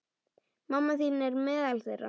Mamma þín er meðal þeirra.